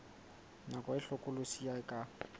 nako e hlokolosi e ka